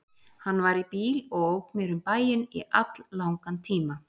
Hann var í bíl og ók mér um bæinn í alllangan tíma.